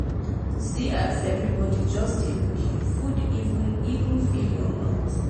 see as everybody just dey look you food even even fill your mouth.